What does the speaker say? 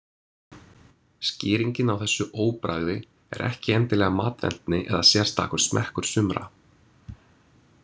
Skýringin á þessu óbragði er ekki endilega matvendni eða sérstakur smekkur sumra.